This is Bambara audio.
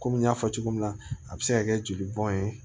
Komi n y'a fɔ cogo min na a bɛ se ka kɛ joli bɔn ye